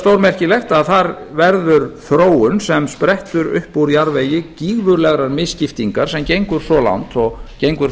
stórmerkilegt að þar verður þróun sem sprettur upp úr jarðvegi gífurlegar misskiptingar sem gengur svo langt og gengur